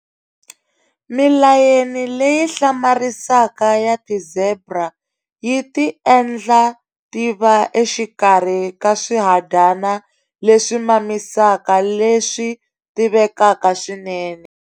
Milayeni leyi hlamarisaka ya ti-zebra yi ti endla ti va exikarhi ka swihadyana leswi mamisaka leswi tivekaka swinene.